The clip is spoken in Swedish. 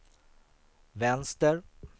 vänster